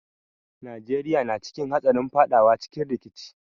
Najeriya na cikin hatsarin fadawa cikin rikici.